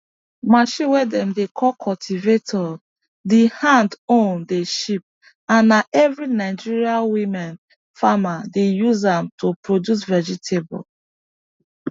machine way dem dey call cultivator the hand own dey cheap and na every nigeria women farmer dey use am to produce vegetable